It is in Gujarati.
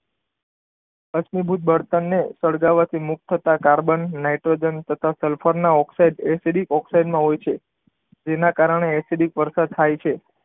અશ્મિ ભૂત બળતણની સળગવાથી મુક્ત થતા કાર્બન, નાઈટ્રોજન, તથા સલફરના ઓક્સાઇડ એસિડિક ઓક્સાઇડ માં હોય છે. જેના કારણે એસિડિક વરસાદ થાય છે.